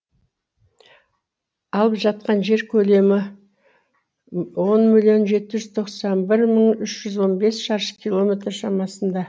алып жатқан жер көлемі он миллион жеті жүз тоқсан бір мың үш жүз он бес шаршы километр шамасында